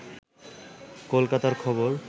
কলকাতা খবর